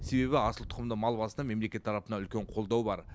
себебі асыл тұқымды мал басына мемлекет тарапынан үлкен қолдау бар